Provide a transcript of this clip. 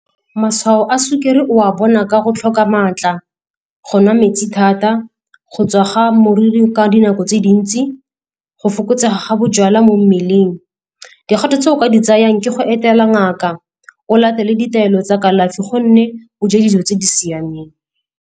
Matshwao a sukiri o a bona ka go tlhoka maatla, go nwa metsi thata, go tswa ga moriri ka dinako tse dintsi, go fokotsega ga bojalwa mo mmeleng. Dikgato tse o ka di tsayang ke go etela ngaka, o latele ditaelo tsa kalafi gomme o je dijo tse di siameng.